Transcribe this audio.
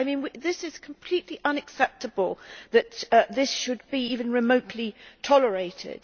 It is completely unacceptable that this should be even remotely tolerated.